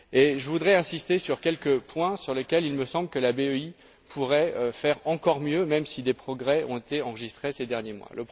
Je voudrais insister sur quelques points sur lesquels il me semble que la BEI pourrait faire encore mieux, même si des progrès ont été enregistrés ces derniers mois.